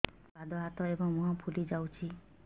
ଦୁଇ ପାଦ ହାତ ଏବଂ ମୁହଁ ଫୁଲି ଯାଉଛି